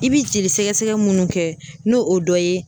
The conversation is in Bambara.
I bi jolisɛgɛsɛgɛ minnu kɛ n'o o dɔ ye